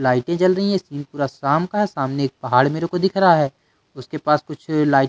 लाइटें जल रही हैं सीन पूरा शाम का है सामने पहाड़ मेरे को दिख रहा है उसके पास कुछ लाइट --